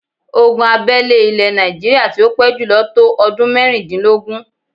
Ogun abẹ́lé ilè Yorùbá tí ó pé jùlọ tó ọdún mẹ́rìndínlógún.